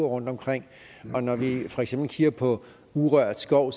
rundtomkring og når vi for eksempel kigger på urørt skov